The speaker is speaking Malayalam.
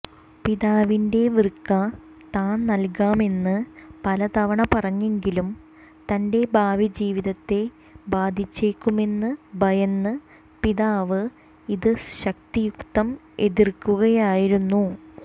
പിതാവിന് വൃക്ക താൻ നൽകാമെന്ന് പലതവണ പറഞ്ഞെങ്കിലും തന്റെ ഭാവി ജീവിതത്തെ ബാധിച്ചേക്കുമെന്ന് ഭയന്ന് പിതാവ് ഇത് ശക്തിയുക്തം എതിർക്കുകയായിരുന്നു